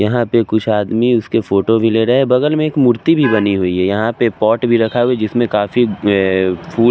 यहां पे कुछ आदमी उसके फोटो भी ले रहे हैं बगल में एक मूर्ति भी बनी हुई है यहां पे पॉट भी रखा हुआ है जिसमें काफी अह फूल --